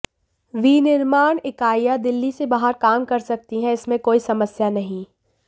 विनिर्माण इकाइयां दिल्ली से बाहर काम कर सकती हैं इसमें कोई समस्या नहीं